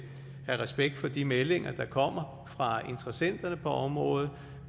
respekt for de meldinger der kommer fra interessenterne på området